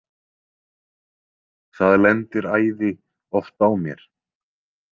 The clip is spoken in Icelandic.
Það lendir æði oft á mér.